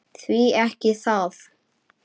Því ekki það?